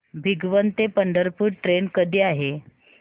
भिगवण ते पंढरपूर ट्रेन कधी आहे